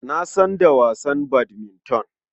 Na san da wasan badminton.